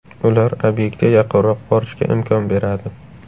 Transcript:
Ular obyektga yaqinroq borishga imkon beradi.